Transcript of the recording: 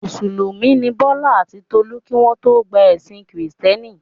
Mùsùlùmí ni Bọ́lá àti Tolú kí wọ́n tó gba ẹ̀sìn Kìrìtẹ́ẹ́nì.